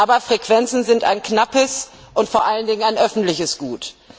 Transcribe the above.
Aber Frequenzen sind ein knappes und vor allen Dingen ein öffentliches Gut.